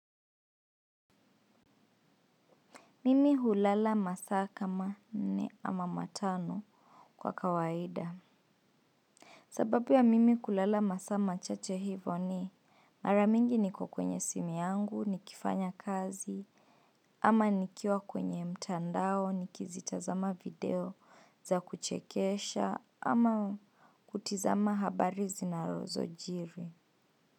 Mimi hulala masa kama nne ama matano kwa kawaida. Sababu wa mimi kulala masa machache hivo ni maramingi ni kukwenye simu yangu, ni kifanya kazi, ama nikiwa kwenye mtandao, nikizitazama video za kuchekesha, ama kutizama habari zinazo jiri.